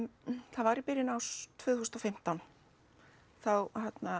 það var í byrjun árs tvö þúsund og fimmtán þá